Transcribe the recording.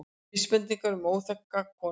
Vísbendingar um óþekkta konu